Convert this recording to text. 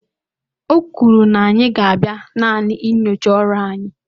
o kwuru na anyị ga-abịa naanị nyochaa ọrụ anyị